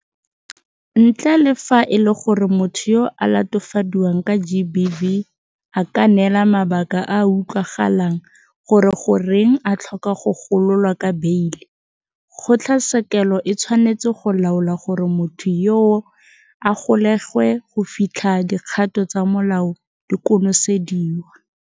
Ntle le fa e le gore motho yo a latofadiwang ka GBV a ka neela mabaka a a utlwagalang gore goreng a tlhoka go gololwa ka beile, kgotlatshekelo e tshwanetse go laola gore motho yoo a golegwe go fitlha dikgato tsa molao di konosediwa.